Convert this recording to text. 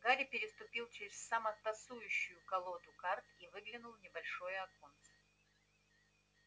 гарри переступил через самотасуюшую колоду карт и выглянул в небольшое окно